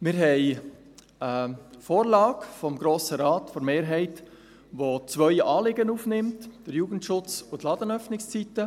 Wir haben eine Vorlage der Mehrheit des Grossen Rates, die zwei Anliegen aufnimmt: den Jugendschutz und die Ladenöffnungszeiten.